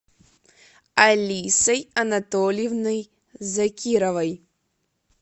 алисой анатольевной закировой